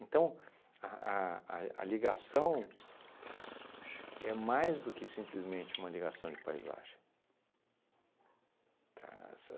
Então, a a a e a ligação é mais do que simplesmente uma ligação de paisagem, tá? Essa